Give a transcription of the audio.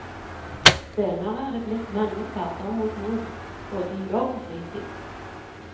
Senere er det blitt mange ferder mot nord både i jobb og fritid.